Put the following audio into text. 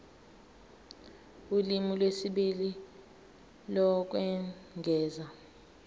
ulimi lwesibili lokwengeza